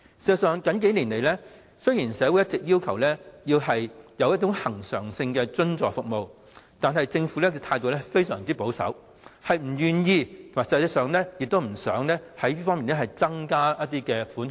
事實上，雖然社會最近數年一直要求政府提供恆常性津助服務，但政府的態度非常保守，不願意就實際需求在此方面增加一些款項。